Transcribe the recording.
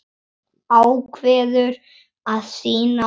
Ákveður að sýna hold.